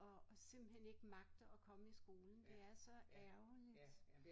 Og og simpelthen ikke magter at komme i skolen det er så ærgerligt